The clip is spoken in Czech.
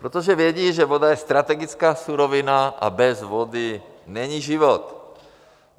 Protože vědí, že voda je strategická surovina a bez vody není život.